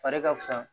Fari ka fisa